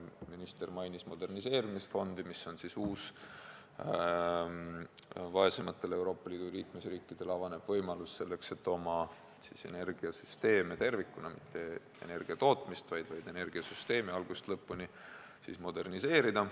Minister mainis moderniseerimisfondi, mis on uus vaesematele Euroopa Liidu liikmesriikidele avanev võimalus oma energiasüsteeme tervikuna – mitte energiatootmist, vaid energiasüsteeme – algusest lõpuni moderniseerida.